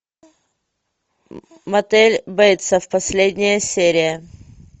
мотель бейтсов последняя серия